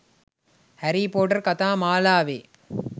හැරී පොටර් කතා මාලාවේ